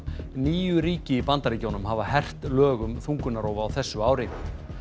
níu ríki í Bandaríkjunum hafa hert lög um þungunarrof á þessu ári